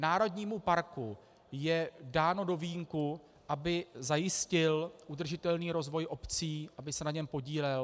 Národnímu parku je dáno do vínku, aby zajistil udržitelný rozvoj obcí, aby se na něm podílel.